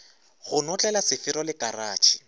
go notlela sefero le karatšhe